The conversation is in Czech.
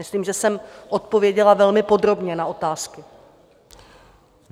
Myslím, že jsem odpověděla velmi podrobně na otázky.